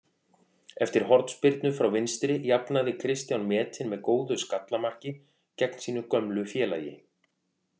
Eftir hornspyrnu frá vinstri jafnaði Kristján metinn með góðu skalla marki gegn sínu gömlu félagi.